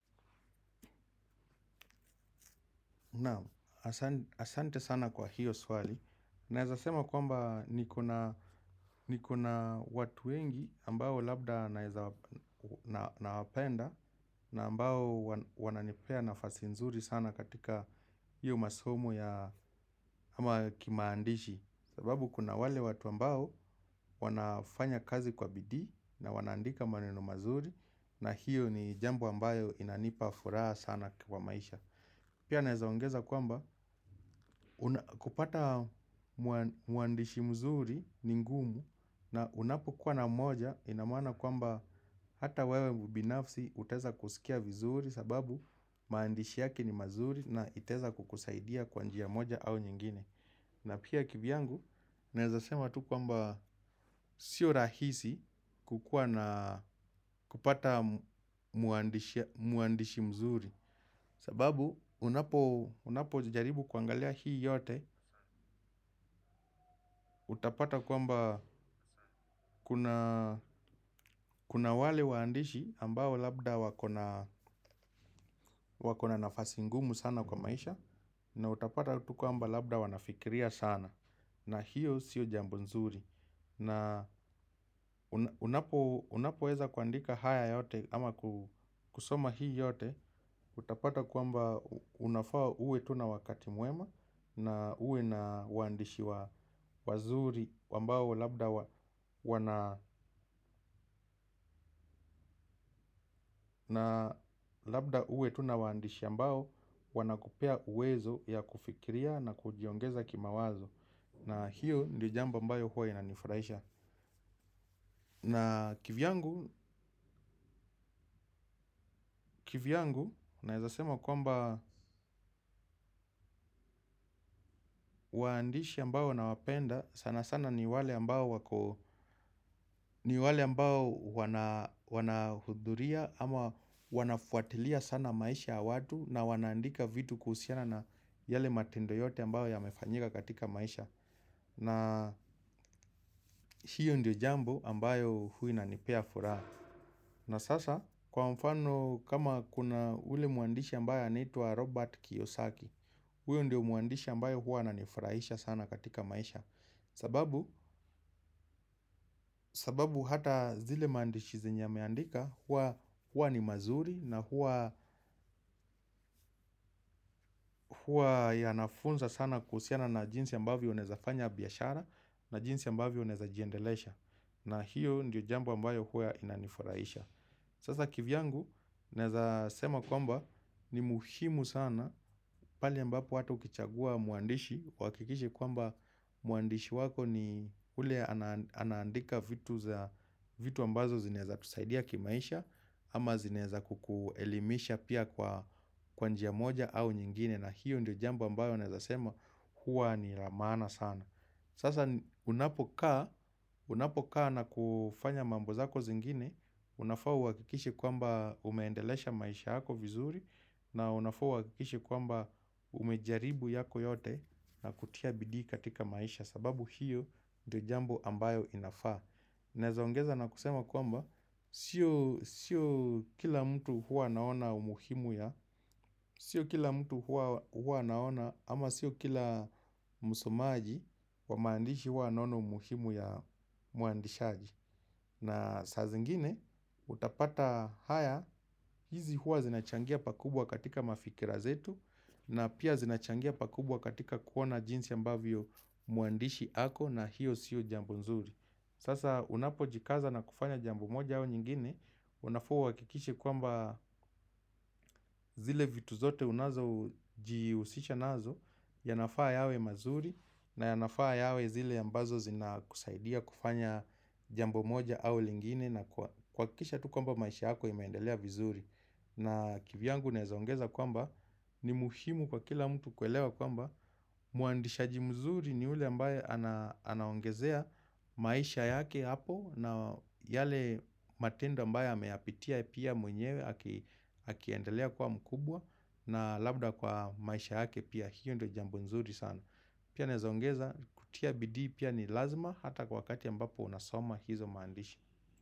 Naam, asante sana kwa hiyo swali. Naeza sema kwamba niko na, niko na watu wengi ambao labda naeza, nawapenda na ambao wananipea nafasi nzuri sana katika hiyo masomo ya, ama kimaandishi. Sababu kuna wale watu ambao wanafanya kazi kwa bidii na wanaandika maneno mazuri, na hiyo ni jambo ambayo inanipa furaha sana kwa maisha. Pia naezaongeza kwamba, kupata mwandishi mzuri ni ngumu na unapokuwa na mmoja ina maana kwamba hata wewe binafsi utaeza kusikia vizuri sababu maandishi yake ni mazuri na itaeza kukusaidia kwa njia moja au nyingine. Na pia kivyangu, naeza sema tu kwamba sio rahisi kukua na kupata mwandishi mzuri. Sababu, unapojaribu kuangalia hii yote, utapata kwamba kuna wale waandishi ambao labda wako na nafasi ngumu sana kwa maisha. Na utapata tu kwamba labda wanafikiria sana. Na hiyo sio jambo nzuri. Unapoweza kuandika haya yote ama kusoma hii yote, utapata kwamba unafaa uwe tu na wakati mwema, na uwe na waandishi wazuri ambao labda uwe tuna waandishi ambao wanakupea uwezo ya kufikiria na kujiongeza kimawazo. Na hiyo ndio jambo ambayo huwa inanifurahisha. Na kivyangu, kivyangu, naeza sema kwamba waandishi ambao nawapenda, sana sana ni wale ambao wako, ni wale ambao wanahudhuria ama wanafuatilia sana maisha ya watu na wanaandika vitu kuhusiana na yale matendo yote ambayo yamefanyika katika maisha. Na hiyo ndio jambo ambayo huwa inanipea furaha. Na sasa, kwa mfano kama kuna ule mwandisha ambaye anaitwa Robert Kiyosaki, huyo ndio mwandishi ambayo huwa ananifurahisha sana katika maisha. Sababu, sababu hata zile maandishi zenye ameandika huwa ni mazuri na huwa yanafunza sana kuhusiana na jinsi ambavyo unaeza fanya biashara na jinsi ambavyo unezajiendelesha. Na hiyo ndio jambo ambayo huwa inanifurahisha. Sasa kivyangu naeza sema kwamba ni muhimu sana pale ambapo hata ukichagua mwandishi uhakikishe kwamba mwandishi wako ni ule anaandika vitu ambazo zinaezakusaidia kimaisha. Ama zinaeza kukuelimisha pia kwa, kwa njia moja au nyingine. Na hiyo ndio jambo ambayo naeza sema kuwa ni ya maana sana. Sasa unapokaa na kufanya mambo zako zingine, unafaa uhakikishe kwamba umeendelesha maisha yako vizuri, na unafaa uhakikishe kwamba umejaribu yako yote na kutia bidii katika maisha, sababu hiyo ndio jambo ambayo inafaa. Naeza ongeza na kusema kwamba, sio kila mtu huwa anaona umuhimu ya, sio kila mtu huwa naona ama sio kila musumaji wa maandishi huwa anaona umuhimu ya muandishaji. Na saa zingine, utapata haya, hizi huwa zinachangia pakubwa katika mafikira zetu na pia zinachangia pakubwa katika kuona jinsi ambavyo mwandishi ako na hiyo siyo jambo nzuri. Sasa unapojikaza na kufanya jambo moja au nyingine, unafaa uhakikishe kwamba zile vitu zote unazojihusisha nazo, yanafaa yawe mazuri na yanafaa yawe zile ambazo zinakusaidia kufanya jambo moja au lingine na kuhakikisha tu kwamba maisha yako imeendelea vizuri. Na kivyangu naeza ongeza kwamba, ni muhimu kwa kila mtu kuelewa kwamba mwandisha mzuri ni ule ambaye anaongezea maisha yake hapo na yale matendo ambayo ameyapitia pia mwenyewe akiendelea kuwa mkubwa, na labda kwa maisha yake pia. Hiyo ndo jambo nzuri sana. Pia naeza ongeza kutia bidii pia ni lazima hata kwa wakati ambapo unasoma hizo maandishi.